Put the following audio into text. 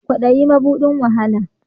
Kwadayi mabudin wahala